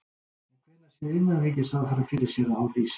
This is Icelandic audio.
En hvenær sér innanríkisráðherra fyrir sér að hún rísi?